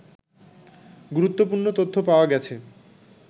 গুরুত্বপূর্ণ তথ্য পাওয়া গেছে